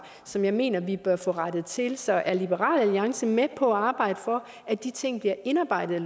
som jeg mener vi bør få rettet til så er liberal alliance med på at arbejde for at de ting bliver indarbejdet